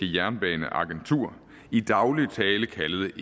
jernbaneagentur i daglig tale kaldet